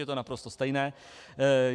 Je to naprosto stejné.